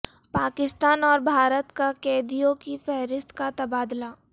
پاکستان اور بھارت کا قیدیوں کی فہرست کا تبادلہ